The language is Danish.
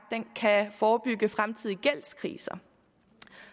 kan forebygge fremtidige gældskriser